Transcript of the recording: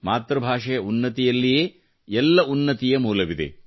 ಮಾತೃ ಭಾಷೆಯ ಉನ್ನತಿಯಲ್ಲಿಯೇ ಎಲ್ಲ ಉನ್ನತಿ ಯ ಮೂಲವಿದೆ